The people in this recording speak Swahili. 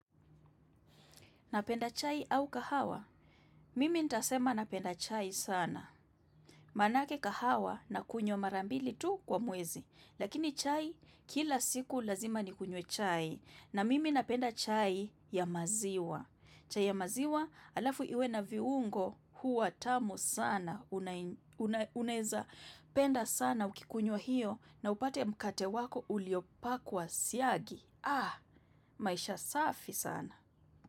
Napenda chai au kahawa? Mimi nitasema napenda chai sana. Manake kahawa nakunywa mara mbili tu kwa mwezi. Lakini chai kila siku lazima nikunywe chai. Na mimi napenda chai ya maziwa. Chai ya maziwa halafu iwe na viungo huwa tamu sana. Unaweza penda sana ukikunywa hiyo na upate mkate wako uliopakwa siagi. Ah, maisha safi sana.